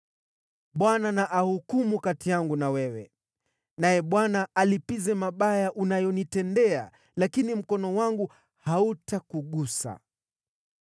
Bwana na ahukumu kati yangu na wewe. Naye Bwana alipize mabaya unayonitendea, lakini mkono wangu hautakugusa.